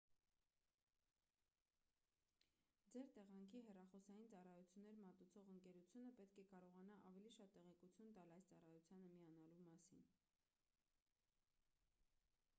ձեր տեղանքի հեռախոսային ծառայություններ մատուցող ընկերությունը պետք է կարողանա ավելի շատ տեղեկություն տալ այս ծառայությանը միանալու մասին